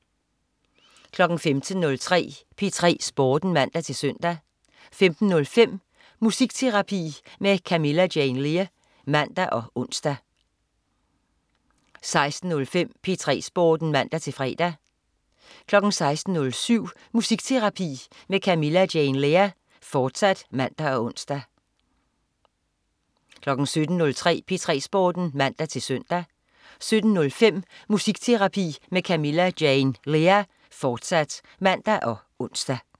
15.03 P3 Sporten (man-søn) 15.05 Musikterapi med Camilla Jane Lea (man og ons) 16.05 P3 Sporten (man-fre) 16.07 Musikterapi med Camilla Jane Lea, fortsat (man og ons) 17.03 P3 Sporten (man-søn) 17.05 Musikterapi med Camilla Jane Lea, fortsat (man og ons)